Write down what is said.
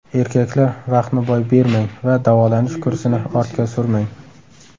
Erkaklar, vaqtni boy bermang va davolanish kursini ortga surmang.